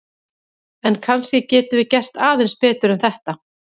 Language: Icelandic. En kannski getum við gert aðeins betur en þetta!